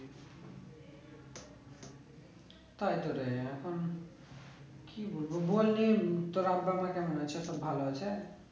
তাই তো রে এখন কি বলবো বললে ভালো আছে